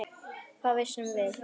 Hvað vissum við?